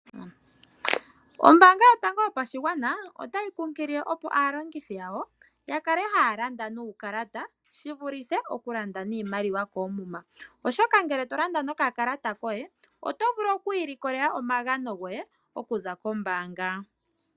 Ombaanga yotango yopashigwana otayi kunkilile opo aalongithi yawo ya kale haya landa nuukalata shi vulithe okulanda niimaliwa koomuma. Oshoka ngele tolanda nokakalata koye oto vulu okwiilikolela omagano goye okuza kombaanga.